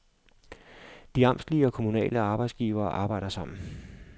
De amtslige og kommunale arbejdsgivere arbejder sammen.